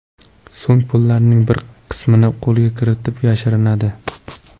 So‘ng pullarning bir qismini qo‘lga kiritib, yashirinadi.